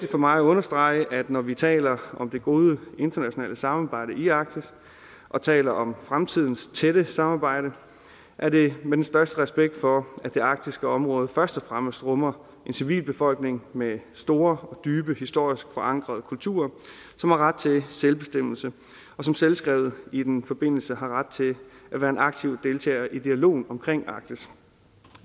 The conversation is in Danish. for mig at understrege at når vi taler om det gode internationale samarbejde i arktis og taler om fremtidens tætte samarbejde er det med den største respekt for at det arktiske område først og fremmest rummer en civilbefolkning med store dybe og historisk forankrede kulturer som har ret til selvbestemmelse og som selvskrevet i den forbindelse har ret til at være en aktiv deltager i dialogen om arktis